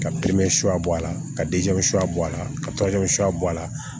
Ka suya bɔ a la ka suya bɔ a la ka suya bɔ a la